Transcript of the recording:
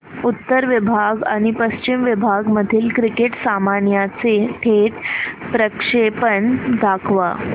उत्तर विभाग आणि पश्चिम विभाग मधील क्रिकेट सामन्याचे थेट प्रक्षेपण दाखवा